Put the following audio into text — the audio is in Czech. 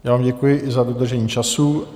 Já vám děkuji i za dodržení času.